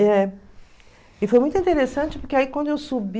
É. E foi muito interessante, porque aí quando eu subi,